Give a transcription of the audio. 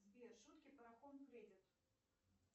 сбер шутки про хоум кредит